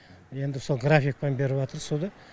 енді сол графикпен беріватыр суды